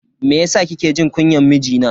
Meyasa kike jin kunyan mijina?